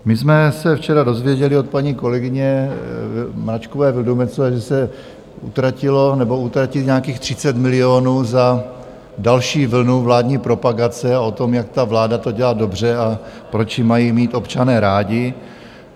My jsme se včera dozvěděli od paní kolegyně Mračkové Vildumetzové, že se utratilo nebo utratí nějakých 30 milionů za další vlnu vládní propagace o tom, jak ta vláda to dělá dobře a proč ji mají mít občané rádi.